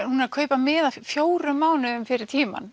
hún er að kaupa miða fjórum mánuðum fyrir tímann